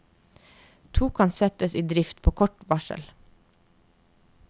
To kan settes i drift på kort varsel.